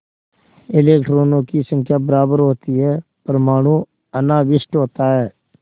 इलेक्ट्रॉनों की संख्या बराबर होती है परमाणु अनाविष्ट होता है